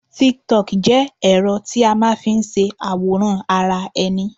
TíkíTokì jẹ́ ẹ̀rọ tí a máa n fi se àwòrán ara ẹni